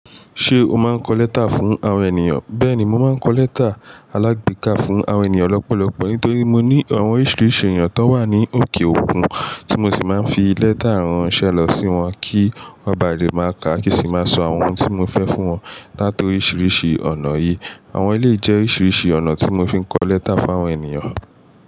Ṣé o máa ń kọ lẹ́tà fún àwọn ènìyàn? Bẹ́ẹ̀ni, mo máa ń kọ lẹ́tà alágbèéká fún àwọn ènìyàn lọ́pọ̀lọpọ̀ nítorí mo ní àwọn oríṣiríṣi èeyan tó n wà ní òkè òkun tí mo sì máa ń fi lẹ́tà ránṣẹ́ lọ sí wọn kí wọ́n ba lè máa ká kí n sí máa sọ àwọn ohun tí mo fẹ́ fún wọn látòríṣiríṣi ọ̀nà yìí. Àwọn eleyii jẹ́ oríṣiríṣi ọ̀nà tí mo fi ń kọ lẹ́tà fún àwọn ènìyàn.